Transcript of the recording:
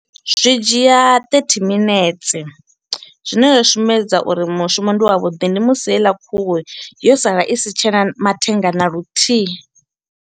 Zwi dzhia thirty minetse. Zwine zwa sumbedza uri mushumo ndi wa vhuḓi ndi musi heiḽa khuhu yo sala i si tshena mathenga na luthihi.